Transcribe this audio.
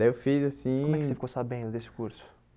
Daí eu fiz assim... Como é que você ficou sabendo desse curso?